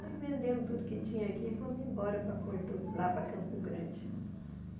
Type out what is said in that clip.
Aí vendemos tudo que tinha aqui e fomos embora para Porto lá para Campo Grande.